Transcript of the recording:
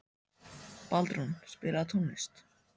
Baldrún, spilaðu tónlist.